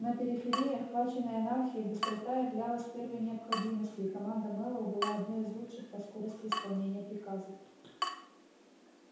на периферии охваченной анархией быстрота являлась первой необходимостью и команда мэллоу была одной из лучших по скорости исполнения приказов